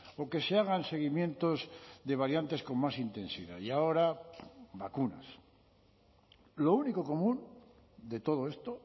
o que se hagan seguimientos de variantes con más intensidad y ahora vacunas lo único común de todo esto